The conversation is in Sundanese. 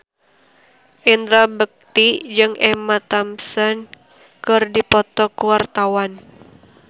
Indra Bekti jeung Emma Thompson keur dipoto ku wartawan